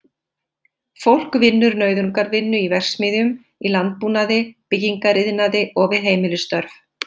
Fólk vinnur nauðungarvinnu í verksmiðjum, í landbúnaði, byggingariðnaði og við heimilisstörf.